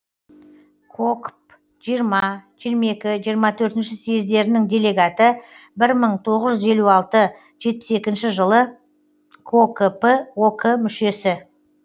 кокп жиырма жиырма екі жиырма төртінші съездерінің делегаты бір мың тоғыз жүз елу алты жетпіс екінші жылы кокп ок мүшесі